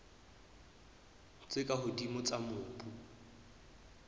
tse ka hodimo tsa mobu